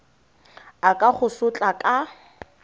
a ka go sotla ka